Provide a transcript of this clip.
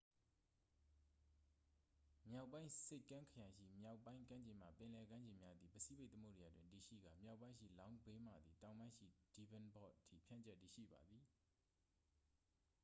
မြောက်ပိုင်းဆိပ်ကမ်းခရိုင်ရှိ မြောက်ပိုင်းကမ်းခြေမှ ပင်လယ်ကမ်းခြေများသည် ပစိဖိတ်သမုဒ္ဒရာတွင်တည်ရှိကာ မြောက်ပိုင်းရှိ long bay မှသည် တောင်ပိုင်းရှိ devonport အထိ ဖြန့်ကျက်တည်ရှိပါသည်။